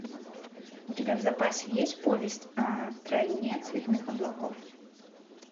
у тебя в запасе есть повесть о стране цветных облаков